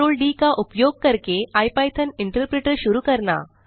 ctrl d का उपयोग करके इपिथॉन इंटरप्रेटर शुरू करना